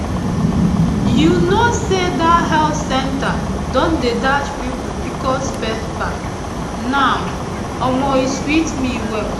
you know know say that health center don dey dash people pcos paper now omo e sweet me well